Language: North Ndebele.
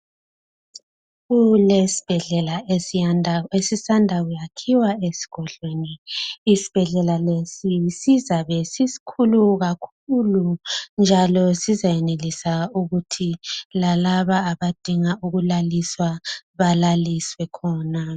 Kulesibhedlela esisanda kuyakhiwe esigodlweni. Isibhedlela lesi sizabe sisikhulu kakhulu njalo sizayenelisa ukuthi lalaba abadinga ukulaliswa lalaliswe khona.